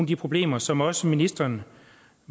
de problemer som også ministrene